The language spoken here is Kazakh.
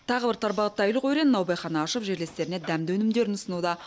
тағы бір тарбағатайлық өрен наубайхана ашып жерлестеріне дәмді өнімдерін ұсынуда